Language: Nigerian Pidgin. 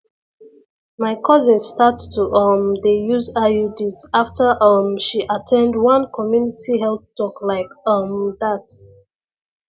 my cousin start to um dey use iuds after um she at ten d one community health talk like um that